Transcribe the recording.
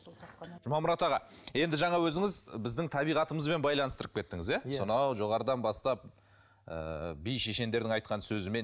жұмамұрат аға енді жаңа өзіңіз біздің табиғатымызбен байланыстырып кеттіңіз иә сонау жоғарыдан бастап ыыы би шешендердің айтқан сөзімен